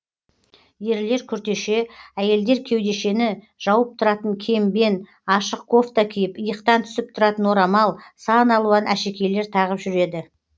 ерлер күртеше әйелдер кеудешені жауып тұратын кембен ашық кофта киіп иықтан түсіп тұратын орамал сан алуан әшекейлер тағып жүреді